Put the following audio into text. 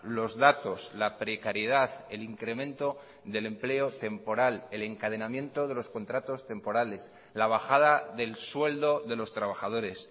los datos la precariedad el incremento del empleo temporal el encadenamiento de los contratos temporales la bajada del sueldo de los trabajadores